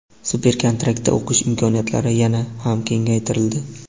Super-kontraktda o‘qish imkoniyatlari yana ham kengaytirildi.